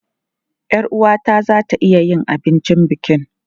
Yar uwata za ta iya yin abincin bukin.